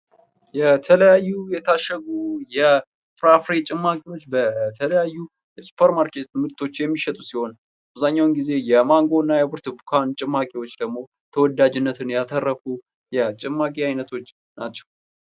የተለያዩ የታሸጉ የፍራፍሬ ጭማቂዎችበተለያዩ የሱፐር ማርኬት ምርቶች የሚሸጥ ሲሆን አብዛኛዉን ጊዜ የማንጎ እና የብርቱካን ጭማቂዎች ደግሞ ተወዳጅነትን ያተረፉ ናቸዉ።